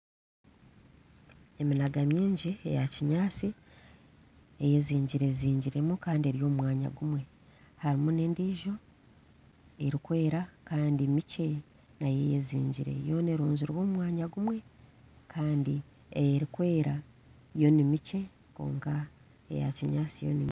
Eminaga mingi eya kinyaatsi eyezingazingiremu kandi eri omu mwanya gumwe hariho n'endiijo erikwera kandi mikye nayo eyezingire yoona erunzire omu mwanya gumwe kandi erikwera yo ni mikye kwonka eya kinyaatsi yo ni mingi